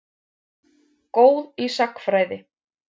Góð í sagnfræði.